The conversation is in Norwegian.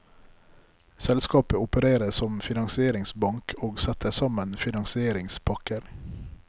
Selskapet opererer som finansieringsbank og setter sammen finansieringspakker.